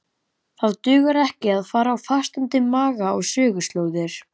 Það dugar ekki að fara á fastandi maga á söguslóðir.